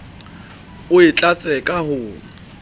o e tlatse ka ho